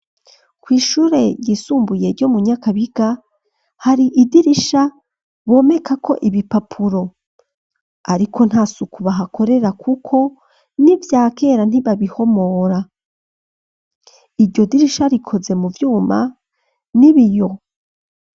Kw'ishure ryisumbuye ryo mu nyakabiga hari idirisha bomekako ibipapuro ariko ntasuku bahakorera kuko n'ivyakera ntibabihomora iryo dirisha rikoze mu vyuma n'ibiyo.